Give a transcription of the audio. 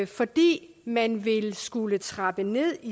fordi man vil skulle trappe ned